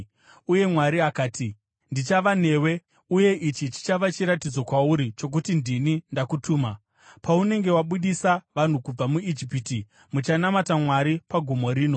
Uye Mwari akati, “Ndichava newe. Uye ichi chichava chiratidzo kwauri chokuti ndini ndakutuma: Paunenge wabudisa vanhu kubva muIjipiti, muchanamata Mwari pagomo rino.”